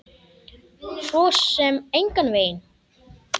Svo sem engan veginn